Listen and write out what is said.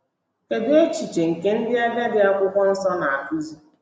Kedụ echiche nke ndị agadi akwụkwọ nsọ na-akụzi?